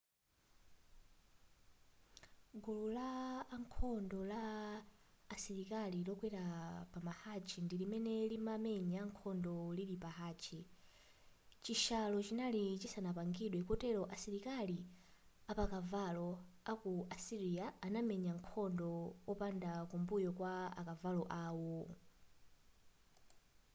gulu la ankhondo la asilikali lokwera pamahachi ndi limene limamenya nkhondo lili pahachi chishalo chinali chisanapangidwe kotero asilikali apakavalo a ku asirya anamenya nkhondo opanda kumbuyo kwa akavalo awo